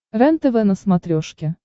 рентв на смотрешке